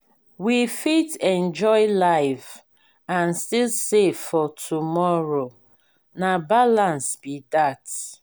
we fit enjoy life and still save for tomorrow na balance be that.